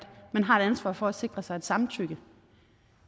man har et ansvar for at sikre sig et samtykke